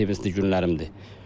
Mənim ən sevincli günlərimdir.